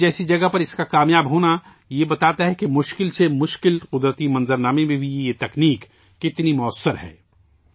کچھ جیسی جگہ پر اس کا کامیاب ہونا یہ بتاتا ہے کہ مشکل سے مشکل قدرتی ماحول میں بھی یہ تکنیک کتنی کارآمد ہے